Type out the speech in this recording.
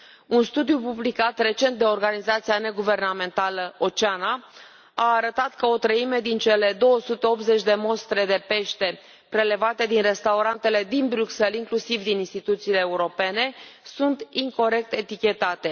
Un studiu publicat recent de organizația neguvernamentală Oceana a arătat că o treime din cele 280 de mostre de pește prelevate din restaurantele din Bruxelles, inclusiv din instituțiile europene, sunt incorect etichetate.